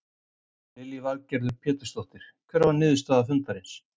Lillý Valgerður Pétursdóttir: Hver var niðurstaða fundarins?